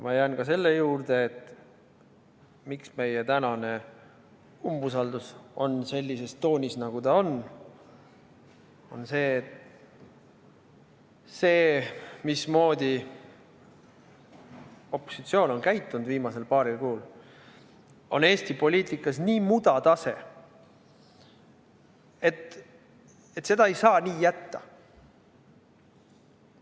Ma jään ka selle juurde, miks meie tänane umbusaldus on sellises toonis, nagu ta on – see, mismoodi opositsioon on viimasel paaril kuul käitunud, on Eesti poliitikas nii mudatase, et seda ei saa nii jätta.